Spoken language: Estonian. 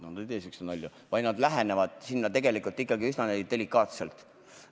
Nad ei tee sihukesi nalju, vaid lähenevad olukorrale tegelikult üsna delikaatselt.